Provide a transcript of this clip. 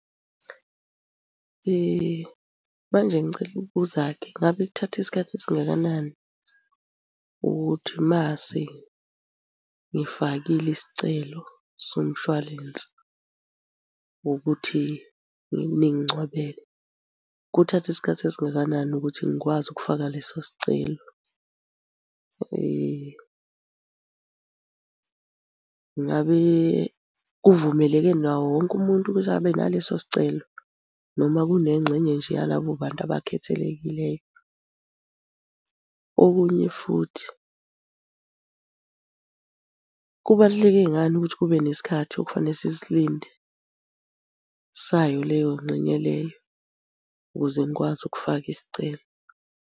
Manje ngicela ukubuza-ke, ngabe kuthatha isikhathi esingakanani ukuthi mase ngifakile isicelo somshwalense ngokuthi ningingcwabele, kuthatha isikhathi esingakanani ukuthi ngikwazi ukufaka leso sicelo? Ngabe kuvumeleke nawo wonke umuntu ukuthi abe naleso sicelo, noma kunengxenye nje yalabo bantu abakhethelekileyo? Okunye futhi, kubaluleke ngani ukuthi kube nesikhathi okufanele sisilinde sayo leyo ngxenye leyo ukuze ngikwazi ukufaka isicelo?